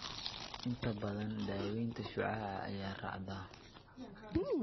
Inta badan, daaweynta shucaaca ayaa raacda.